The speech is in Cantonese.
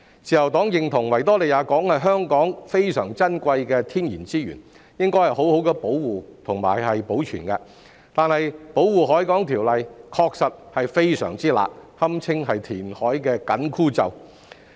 自由黨認同維多利亞港是香港珍貴的天然資源，應該好好保護及保存，但《條例》確實非常"辣"，堪稱填海的"緊箍咒"。